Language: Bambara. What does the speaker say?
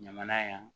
Ɲamana yan